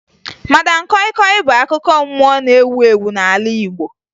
Madam kọyị kọyị bụ akụkọ mmụọ na-ewu ewu n'ala Igbo